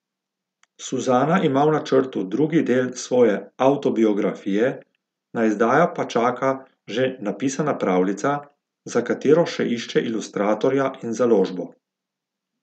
Suzana ima v načrtu drugi del svoje avtobiografije, na izdajo pa čaka že napisana pravljica, za katero še išče ilustratorja in založbo.